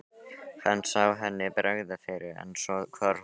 Hann sá henni bregða fyrir en svo hvarf hún aftur.